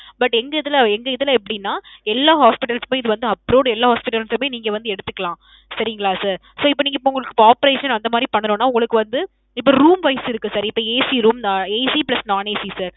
but எங்க இதுல எங்க இதுல எப்பிடின்னா. எல்லா hospitals சுமே இத வந்து approved எல்லா hospitals சுமே நீங்க வந்து எடுத்துக்கலாம். சரிங்களா sir. sir இப்போ நீங்க இப்போ உங்களுக்கு operation அந்த மாதிரி பண்ணணுமனா உங்களுக்கு வந்து இப்போ room wise இருக்கு sir, இப்போ ACroomACplus nonACsir.